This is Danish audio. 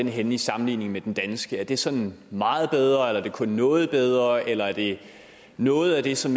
er henne i sammenligning med den danske er den sådan meget bedre eller kun noget bedre eller er det noget af det som